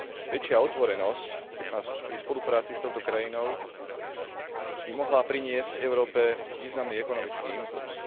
Väčšia otvorenosť pri spolupráci s touto krajinou by mohla priniesť Európe významný ekonomický impulz.